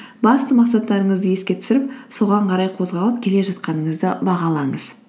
басты мақсаттарыңызды еске түсіріп соған қарай қозғалып келе жатқаныңызды бағалаңыз